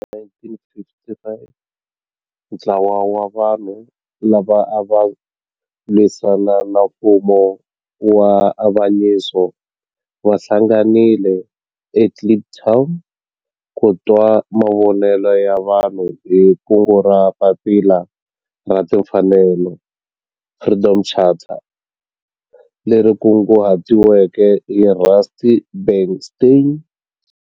Hi 1955 ntlawa wa vanhu lava ava lwisana na nfumo wa avanyiso va hlanganile eKliptown ku twa mavonelo ya vanhu hi kungu ra Papila ra Tinfanel, Freedom Charter, leri kunguhatiweke hi Rusty Bernstein.